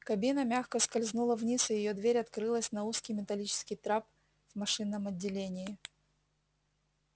кабина мягко скользнула вниз и её дверь открылась на узкий металлический трап в машинном отделении